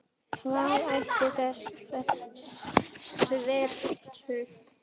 Hvað hét þessi sveit?